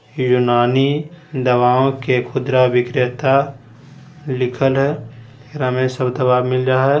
दवाओं के खुदरा विक्रेता लिखल है एकरा में सब दवा मिल रहा हैं।